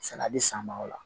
Sɛnɛ bɛ san ma o la